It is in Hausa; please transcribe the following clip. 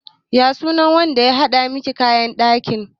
Ya sunan wanda ya haɗa miki kayan ɗakin ki?